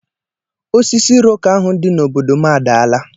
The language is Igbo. Osisi iroko ahu di n'obodo m adaala.